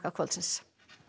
kvöldsins